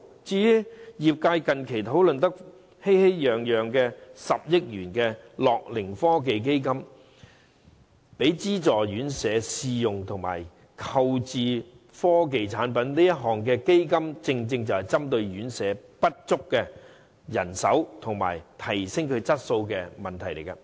至於業界近期討論得熙熙攘攘的10億元樂齡科技基金，是供資助院舍試用及購置科技產品，正正是針對院舍人手不足及提升質素的問題。